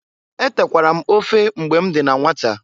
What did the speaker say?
Etekwara m ofe mgbe m dị na nwata.